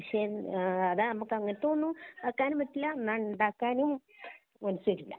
പക്ഷേ അതാ മ്മക്ക് അങ്ങനെത്തേത് ഒന്നും ആക്കാനും പറ്റില്ല എന്നാ ഉണ്ടാക്കാനും മനസ്സ് വരൂല